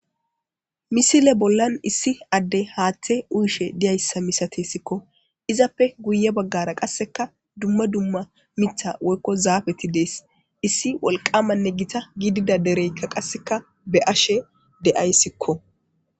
Misile bollan issi adde haaththe uyshe diyayssa misate sikko izappe guye baggara qasseka dumma dumma mitha woykko zaabeti dees issi wolqamanne gita giidida dereykka qasseka be ashe de'aysikko.